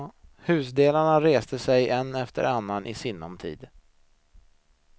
Husdelarna reste sig en efter annan i sinom tid.